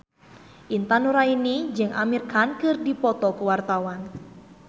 Intan Nuraini jeung Amir Khan keur dipoto ku wartawan